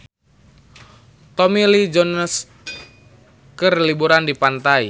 Tommy Lee Jones keur liburan di pantai